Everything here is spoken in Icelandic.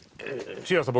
Sigurður